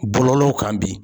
Bɔlɔlɔw kan bi